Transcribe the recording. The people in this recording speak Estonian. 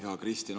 Hea Kristen!